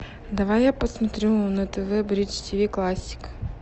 давай я посмотрю на тв бридж тв классик